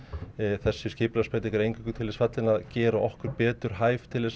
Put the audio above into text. þessi skipulagsbreyting er eingöngu til þess fallin að gera okkur betur hæf til